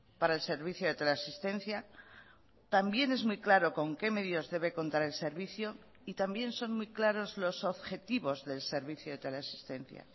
para el servicio de teleasistencia también es muy claro con qué medios debe contar el servicio y también son muy claros los objetivos del servicio de teleasistencia